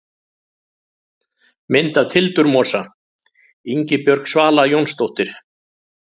Mynd af tildurmosa: Ingibjörg Svala Jónsdóttir.